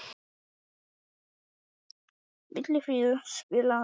Vilfríður, spilaðu lag.